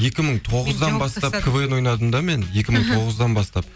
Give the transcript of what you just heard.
екі мың тоғыздан бастап квн ойнадым да мен екі мың тоғыздан бастап